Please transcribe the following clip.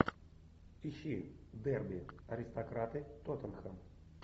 ищи дерби аристократы тоттенхэм